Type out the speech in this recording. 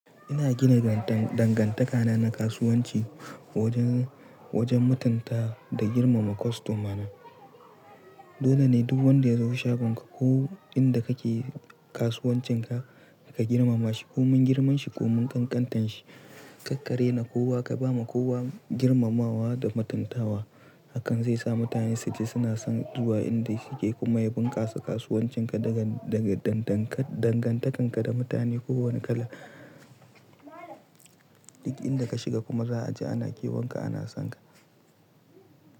Ina gina dangantaka na kasuwanci wajen, wajen matunta da girmama kostomana. Dole ne duk wanda ya zo shagon ka ko inda kake kasuwancinka ka girmama shi, ko mun girman shi ko mun ƙanƙantan shi. Karka rena kowa, ka ba ma kowa girmamawa da mutuntawa. Hakan zai sa mutane su ji suna son zuwa inda suke kuma ya bunƙasa kasuwancin ka daga, daga, dangantakan ka da mutane kowane kala. Duk inda ka shiga kuma za a ji ana kiwon ka ana son ka.